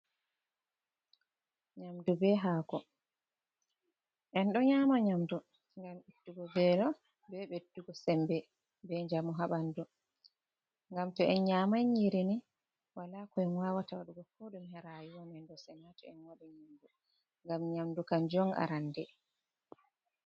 Nyamdu be hako en ɗo nyama nyamdu ngam ittugo velo be ɓeddugo sembe be njamu ha ɓandu. Ngam to en nyamai nyiri ni, wala ko en wawata waɗugo ko ɗume ha rayuwa men ɗo sina to en waɗi nyamdu ngam nyamdu kanjum on arande.